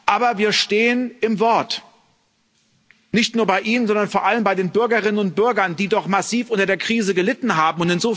Aber wir stehen im Wort, nicht nur bei Ihnen, sondern vor allem bei den Bürgerinnen und Bürgern, die doch massiv unter der Krise gelitten haben.